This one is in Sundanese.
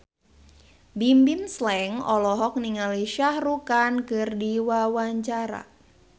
Bimbim Slank olohok ningali Shah Rukh Khan keur diwawancara